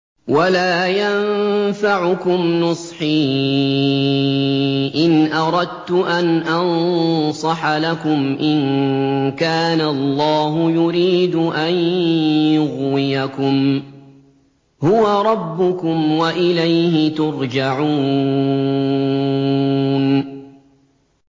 وَلَا يَنفَعُكُمْ نُصْحِي إِنْ أَرَدتُّ أَنْ أَنصَحَ لَكُمْ إِن كَانَ اللَّهُ يُرِيدُ أَن يُغْوِيَكُمْ ۚ هُوَ رَبُّكُمْ وَإِلَيْهِ تُرْجَعُونَ